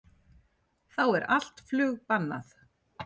Þá er allt flug bannað